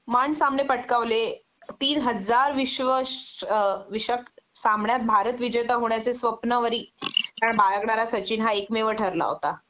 मान सामने पटकावले तीन हजार विश्व अ विषक सामन्यात भारत विजेता होण्याचे स्वप्नावरी हा बाळगणारा सचिन हा एकमेव ठरला होता